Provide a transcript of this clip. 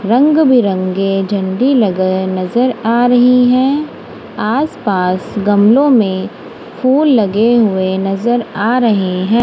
रंग बिरंगे झंडी लगे नजर आ रही है आस पास गमलों में फूल लगे हुए नजर आ रहे हैं।